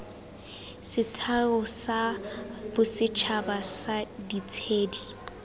setheo sa bosetšhaba sa ditshedi